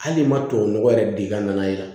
Hali n'i ma tubabu nɔgɔ yɛrɛ d'i ka nana ye